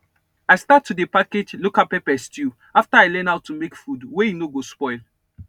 i start to dey package local pepper stew after i learn how to make food wey e no go spoil